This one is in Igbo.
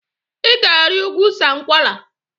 I ga-ari ugwu Sankwala!